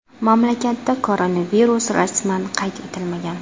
Mamlakatda koronavirus rasman qayd etilmagan.